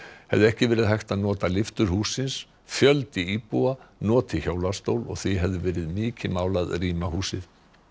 hefði ekki verið hægt að nota lyftur hússins fjöldi íbúa noti hjólastól og því hefði verið mikið mál að rýma húsið